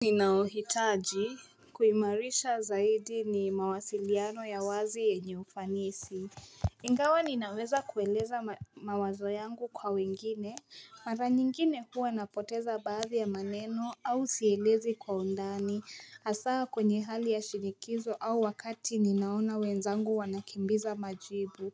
Ninayohitaji kuimarisha zaidi ni mawasiliano ya wazi yenye ufanisi. Ingawa ninaweza kueleza mawazo yangu kwa wengine. Mara nyingine huwa napoteza baadhi ya maneno au sielezi kwa undani. Hasaa kwenye hali ya shinikizo au wakati ninaona wenzangu wanakimbiza majibu.